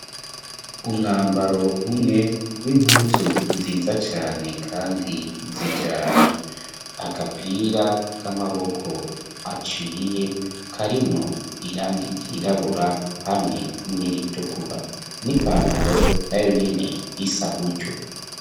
Umwambaro umwe w'impuzu nziza cane kandi zijanye agapira k'amaboko aciyeko arimwo irang ryirabura hamwe n'iritukura n'ipantaro nayo nyene isa gutsyo.